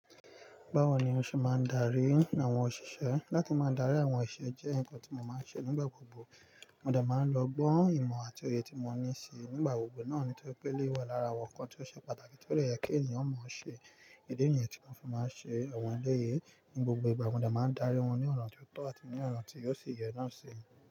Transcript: Báwo ni mo ṣe máa ń darí àwọn òṣìṣẹ́? Látí máa dárí àwọn ìṣe jẹ́ nǹkan tí mo máa ń ṣe nígbà gbogbo. Mo dà máa ń lọ ogbọ́, ìmọ̀ àti òye tí mo ní síi. Nígbà gbogbo náà ni tó pé lé wà lára àwọn nǹkan tí ó ṣe pàtàkì tí ó le yẹ kí ènìyàn mọ̀ ọ́n ṣe. Idi nìyẹn tí wọn fi máa ń ṣe àwọn ẹlẹ́yè ní gbogbo ìgbà, mo dà máa ń darí wọ́n ní ọ̀nà tí ó tọ́ àti ní ọ̀nà tí yóò sì yẹ náà ṣe.